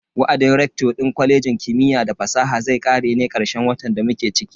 Wa'adin rector din kwalejin kimiyya da fasaha zai kare ne karshen watan da muke ciki.